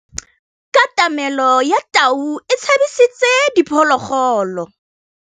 Katamêlô ya tau e tshabisitse diphôlôgôlô.